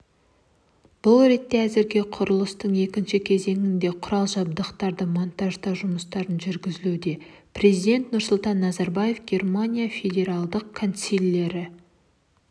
бұл ретте әзірге құрылыстың екінші кезеңінде құрал-жабдықтарды монтаждау жұмыстары жүргізілуде президенті нұрсұлтан назарбаев германияның федералдық канцлері